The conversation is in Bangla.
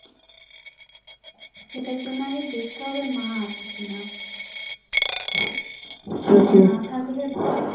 এটার জন্য আগে দেখতে হবে মা আছে কি না না থাকলে ভালো